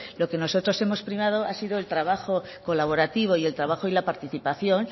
lo que nosotros hemos primado es el trabajo colaborativo y el trabajo y la participación